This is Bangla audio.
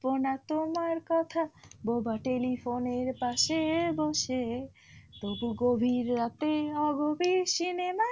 বোনা তোমার কথা বোবা telephone এর পাশে বসে, তবু গভীর রাতে অগভীর cinema,